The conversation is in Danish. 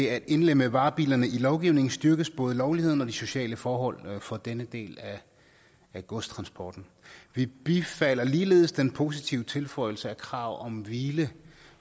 at indlemme varebilerne i lovgivningen styrkes både lovligheden og de sociale forhold for denne del af godstransporten vi bifalder ligeledes den positive tilføjelse af krav om hvile